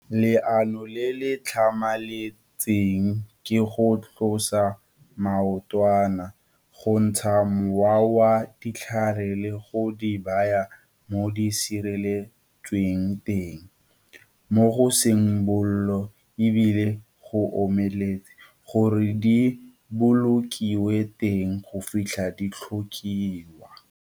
Leano le le tlhamaletseng ke go tlosa maotwana, go ntsha mowa wa dithaere le go di baya mo di sireletsweng teng, mo go seng bollo e bile go omeletse, gore di bolokiwe teng go fitlha di tlhokiwa.